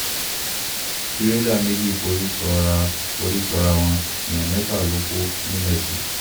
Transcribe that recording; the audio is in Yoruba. tìrẹ̀là méjì forí sọ́ràá forí sọ́ràá wọn èèyàn mẹ́fà ló kù ńìmesì